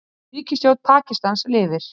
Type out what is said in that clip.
Ríkisstjórn Pakistans lifir